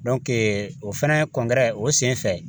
o fɛnɛ o sen fɛ